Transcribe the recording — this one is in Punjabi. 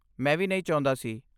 ਮੈਂ ਵੀ ਨਹੀਂ ਚਾਹੁੰਦਾ ਸੀ।